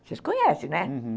Vocês conhecem, né? Uhum.